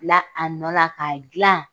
Bila a nɔ la k'a dilan